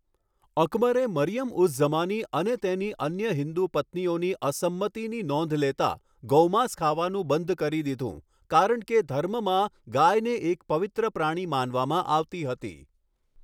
અકબરે મરિયમ ઉઝ ઝમાની અને તેની અન્ય હિન્દુ પત્નીઓની અસંમતિની નોંધ લેતા ગોમાંસ ખાવાનું બંધ કરી દીધું કારણ કે ધર્મમાં ગાયને એક પવિત્ર પ્રાણી માનવામાં આવતી હતી.